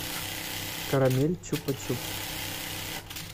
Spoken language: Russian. карамель чупа чупс